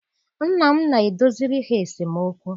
Nna m na-edoziri ha esemokwu.